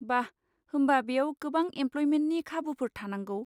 बा! होमबा बेयाव गोबां एमप्ल'यमेन्टनि खाबुफोर थानांगौ।